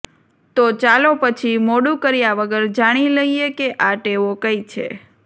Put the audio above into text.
તો ચાલો પછી મોડું કર્યા વગર જાણી લઈએ કે આ ટેવો કઈ છે